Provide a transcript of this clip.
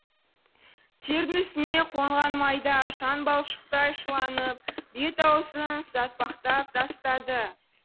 тердің үстіне қонған майда шаң балшықтай шыланып бет аузын сатпақтап тастады